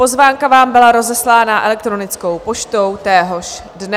Pozvánka vám byla rozeslána elektronickou poštou téhož dne.